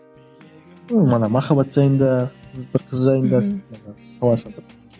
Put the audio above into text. ыыы ана махаббат жайында бір қыз жайында